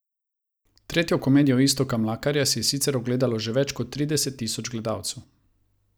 Tretjo komedijo Iztoka Mlakarja si je sicer ogledalo že več kot trideset tisoč gledalcev.